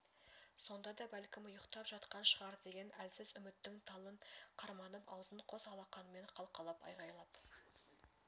сонда да бәлкім ұйықтап жатқан шығар деген әлсіз үміттің талын қарманып аузын қос алақанымен қалқалап айғайлап